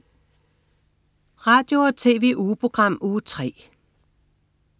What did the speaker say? Radio- og TV-ugeprogram Uge 3